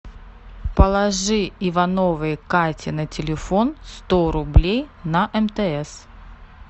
положи ивановой кате на телефон сто рублей на мтс